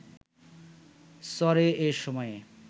চরে এ সময়ে